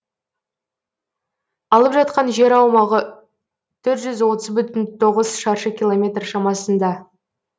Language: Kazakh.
алып жатқан жер аумағы төрт жүз отыз бүтін тоғыз шаршы километр шамасында